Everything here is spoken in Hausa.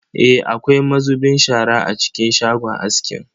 Eh, akwai mazubin shara a cikin shagon askin.